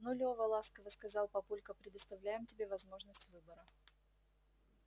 ну лёва ласково сказал папулька предоставляем тебе возможность выбора